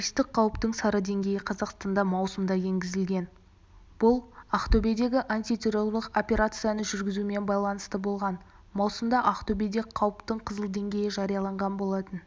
терористік қауіптің сары деңгейі қазақстанда маусымда енгізілген бұл ақтөбедегі антитеррорлық операцияны жүргізумен байланысты болған маусымда ақтөбеде қауіптің қызыл деңгейі жарияланған болатын